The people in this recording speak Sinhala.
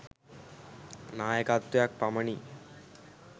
නායකත්වයක් පමණි.